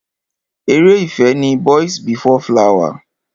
Ere ìfẹ́ ni Boys before flower.